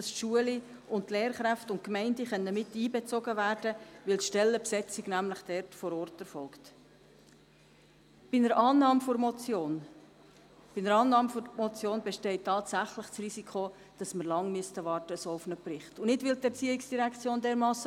Ich musste schmunzeln bei den Ausführungen von Christoph Grimm, wonach es in Burgdorf ausschliesslich gute Lehrerinnen und Lehrer gebe.